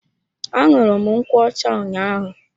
Aṅụru m nkwocha ụnyaahụ.